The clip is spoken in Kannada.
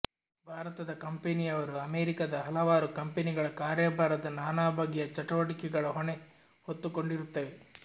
ಭಾರತದ ಕಂಪೆನಿಯವರು ಅಮೆರಿಕದ ಹಲವಾರು ಕಂಪೆನಿಗಳ ಕಾರ್ಯಭಾರದ ನಾನಾ ಬಗೆಯ ಚಟುವಟಿಕೆಗಳ ಹೊಣೆ ಹೊತ್ತುಕೊಂಡಿರುತ್ತವೆ